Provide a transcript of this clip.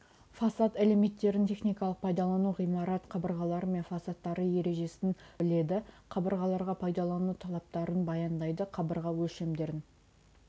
фасад элементтерін техникалық пайдалану ғимарат қабырғалары мен фасадтары ережесін біледі қабырғаларға пайдалану талаптарын баяндайды қабырға өлшемдерін